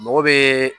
Mɔgɔ bɛ